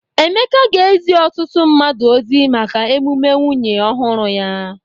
Emeka ga-ezi ọtụtụ mmadụ ozi maka emume nwunye ọhụrụ ya.